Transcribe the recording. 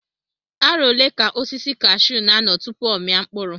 Arọ ole ka osisi kashuu n'anọ tupu ọ mia mkpụrụ?